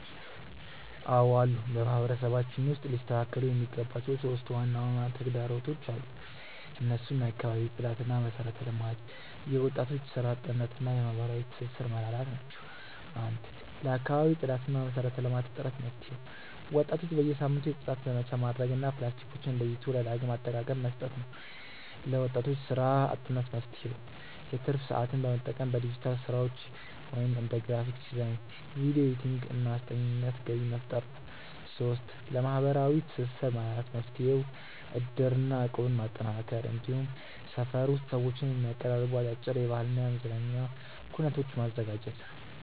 አዎ አሉ። በማህበረሰባችን ውስጥ ሊስተካከሉ የሚገባቸው 3 ዋና ዋና ተግዳሮቶች አሉ። እነሱም የአካባቢ ጽዳትና መሰረተ ልማት፣ የወጣቶች ስራ አጥነት እና የማህበራዊ ትስስር መላላት ናቸው። 1. ለአካባቢ ጽዳትና መሰረተ ልማት እጥረት መፍትሄው፦ ወጣቶች በየሳምንቱ የጽዳት ዘመቻ ማድረግ እና ፕላስቲኮችን ለይቶ ለዳግም አጠቃቀ መስጠት ነው። 2. ለወጣቶች ስራ አጥነት መፍትሄው፦ የትርፍ ሰዓትን በመጠቀም በዲጂታል ስራዎች (እንደ ግራፊክ ዲዛይን፣ ቪዲዮ ኤዲቲንግ) እና አስጠኚነት ገቢ መፍጠር ነው። 3. ለማህበራዊ ትስስር መላላት መፍትሄው፦ እድርና እቁብን ማጠናከር፣ እንዲሁም ሰፈር ውስጥ ሰዎችን የሚያቀራርቡ አጫጭር የባህልና የመዝናኛ ኩነቶችን ማዘጋጀት።